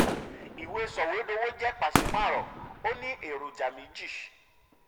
ìwé soìwédowo jẹ́ pàṣípààrọ̀ ó ní eroja méjì.